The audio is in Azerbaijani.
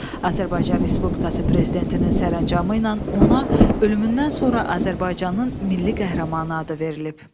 Azərbaycan Respublikası Prezidentinin sərəncamı ilə ona ölümündən sonra Azərbaycanın Milli Qəhrəmanı adı verilib.